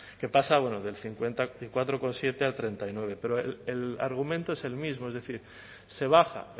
que pasa del cincuenta y cuatro coma siete al treinta y nueve pero el argumento es el mismo es decir se baja